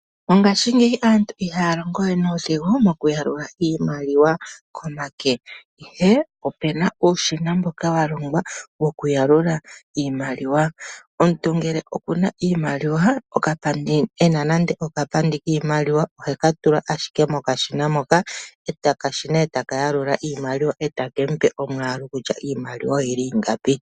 Mongashingeyi aantu ihaa longo we nuudhigu mokuyalula iimaliwa komake, ihe opu na uushina mboka wa longwa wokuyalula iimaliwa. Omuntu ngele oku na iimaliwa, e na nande okapandi kiimaliwa, ohe ka tula ashike mokashina moka, okashina e taka yalula iimaliwa e take mu pe omwaalu kutya iimaliwa oyi li ingapi.